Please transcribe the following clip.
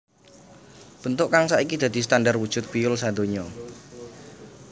Bentuk kang saiki dadi standar wujud piyul sadonya